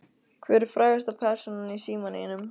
Hver er frægasta persónan í símanum þínum?